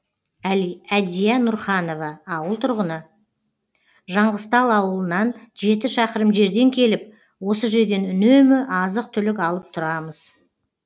әдия нұрханова ауыл тұрғыны жаңғызтал ауылынан жеті шақырым жерден келіп осы жерден үнемі азық түлік алып тұрамыз